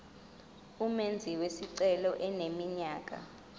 umenzi wesicelo eneminyaka